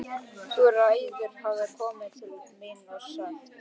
Þú ræður hafði kona mín sagt.